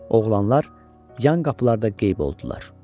Oğlanlar yan qapılarda qeyb oldular.